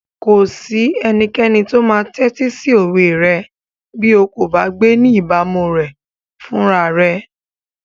Kò sí ẹnikẹ́ni tó máa tẹ́tí sí òwe rẹ bí o kò bá gbé ní ìbámu rẹ̀ fúnra rẹ.